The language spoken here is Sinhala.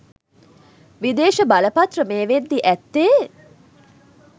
විදේශ බලපත්‍ර මේ වෙද්දී ඇත්තේ